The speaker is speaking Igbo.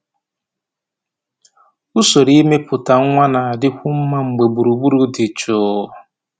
Usoro imepụta nwa na-adịkwu mma mgbe gburugburu dị jụụ.